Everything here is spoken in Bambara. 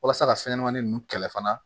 Walasa ka fɛn ɲɛnamanin ninnu kɛlɛ fana